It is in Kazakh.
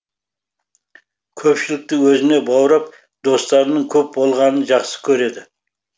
көпшілікті өзіне баурап достарының көп болғанын жақсы көреді